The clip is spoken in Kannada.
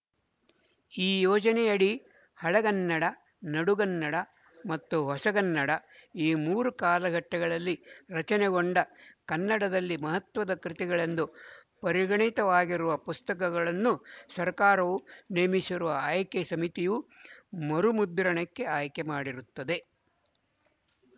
ಈ ಯೋಜನೆಯಡಿ ಹಳಗನ್ನಡ ನಡುಗನ್ನಡ ಮತ್ತು ಹೊಸಗನ್ನಡ ಈ ಮೂರೂ ಕಾಲಘಟ್ಟಗಳಲ್ಲಿ ರಚನೆಗೊಂಡ ಕನ್ನಡದಲ್ಲಿ ಮಹತ್ವದ ಕೃತಿಗಳೆಂದು ಪರಿಗಣಿತವಾಗಿರುವ ಪುಸ್ತಕಗಳನ್ನು ಸರ್ಕಾರವು ನೇಮಿಸಿರುವ ಆಯ್ಕೆ ಸಮಿತಿಯು ಮರುಮುದ್ರಣಕ್ಕೆ ಆಯ್ಕೆ ಮಾಡಿರುತ್ತದೆ